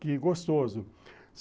Que gostoso.